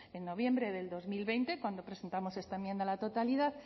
en noviembre del dos mil veinte cuando presentamos esta enmienda a la totalidad